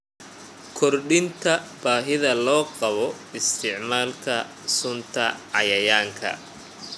Kordhinta baahida loo qabo isticmaalka sunta cayayaanka.